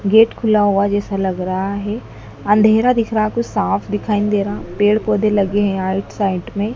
gate खुला हुआ जैसा लग रहा है अंधेरा दिख रहा कुछ साफ दिखाई दे रहा पेड़ पौधे लगे हैं आईट साइड में--